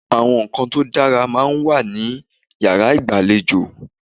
Àwọn ǹkan tó dára máa ń wà ní yàrá ìgbàlejò.